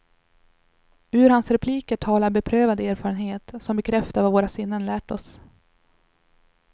Ur hans repliker talar beprövad erfarenhet, som bekräftar vad våra sinnen lärt oss.